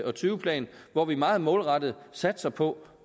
og tyve plan hvor vi meget målrettet satser på